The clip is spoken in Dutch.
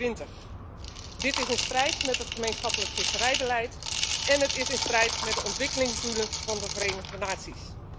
2020. Dit is in strijd met het gemeenschappelijk visserijbeleid en het is in strijd met de ontwikkelingsdoelen van de Verenigde Naties.